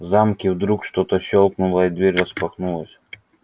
в замке вдруг что-то щёлкнуло и дверь распахнулась